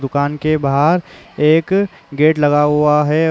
दुकान के बाहर एक गेट लगा हुआ है।